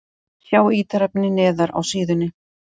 Sjá ítarefni neðar á síðunni